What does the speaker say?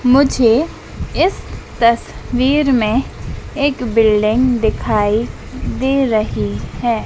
मुझे इस तस्वीर में एक बिल्डिंग दिखाई दे रही है।